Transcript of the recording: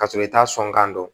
Ka sɔrɔ i t'a sɔn kan don